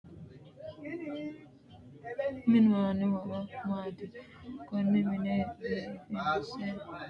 Minu aanno horo maati konne mine biifinse minoonihu mayiiniti isi mule leelanno wedelli maricho loosani leeanno badhesiini leeltano muro uyiitanno horo maati